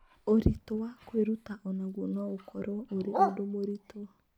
Ũritũ wa kwĩruta o naguo no ũkorũo ũrĩ ũndũ mũritũ.